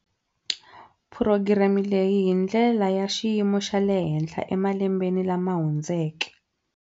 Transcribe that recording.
Phurogireme leyi hi ndlela ya xiyimo xa le henhla emalembeni lama hundzeke.